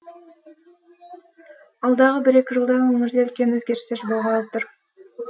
алдағы бір екі жылда өңірде үлкен өзгерістер болғалы тұр